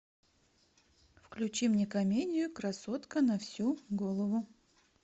включи мне комедию красотка на всю голову